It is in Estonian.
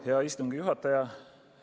Hea istungi juhataja!